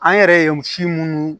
An yɛrɛ ye si munnu